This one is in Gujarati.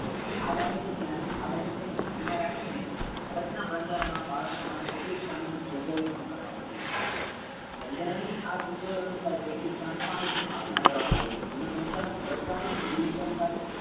આ બાબતો ધ્યાન આ બાબતો ને ધ્યાન મા રાખીને ભારતના બંધારણો મા બાળકો માટે કેટલી કાનૂની જોગવાઈ પણ કરવામા આવી છે બંધારણ ની આ જોગવાઈઓ ની સ્તર કેટલીક સંસ્થાઓ ની સ્થાપના કરવા માં આવી છે જેનું સંચાલન સરકારી અને બિન સરકારી